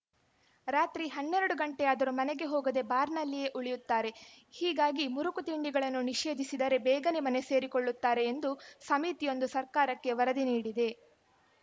ರಾತ್ರಿ ಹನ್ನೆರಡು ಗಂಟೆಯಾದರೂ ಮನೆಗೆ ಹೋಗದೇ ಬಾರ್‌ನಲ್ಲಿಯೇ ಉಳಿಯುತ್ತಾರೆ ಹೀಗಾಗಿ ಮುರುಕು ತಿಂಡಿಗಳನ್ನು ನಿಷೇಧಿಸಿದರೆ ಬೇಗನೆ ಮನೆ ಸೇರಿಕೊಳ್ಳುತ್ತಾರೆ ಎಂದು ಸಮಿತಿಯೊಂದು ಸರ್ಕಾರಕ್ಕೆ ವರದಿ ನೀಡಿದೆ